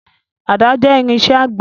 Àdá jẹ́ irinṣẹ́ àgbẹ̀.